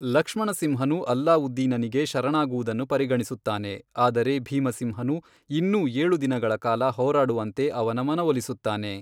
ಲಕ್ಷ್ಮಣಸಿಂಹನು ಅಲ್ಲಾವುದ್ದೀನನಿಗೆ ಶರಣಾಗುವುದನ್ನು ಪರಿಗಣಿಸುತ್ತಾನೆ, ಆದರೆ ಭೀಮಸಿಂಹನು ಇನ್ನೂ ಏಳು ದಿನಗಳ ಕಾಲ ಹೋರಾಡುವಂತೆ ಅವನ ಮನವೊಲಿಸುತ್ತಾನೆ.